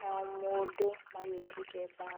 na o andũ manyitĩte mbao